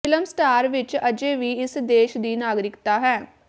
film star ਵਿਚ ਅਜੇ ਵੀ ਇਸ ਦੇਸ਼ ਦੀ ਨਾਗਰਿਕਤਾ ਹੈ